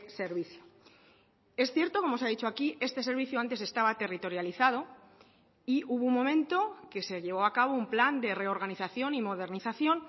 servicio es cierto como se ha dicho aquí este servicio antes estaba territorializado y hubo un momento que se llevó a cabo un plan de reorganización y modernización